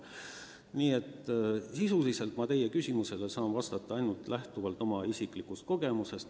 Nii et sisuliselt saan ma teie küsimusele vastata ainult lähtuvalt oma isiklikust kogemusest.